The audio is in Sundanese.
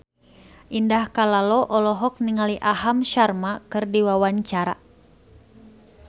Indah Kalalo olohok ningali Aham Sharma keur diwawancara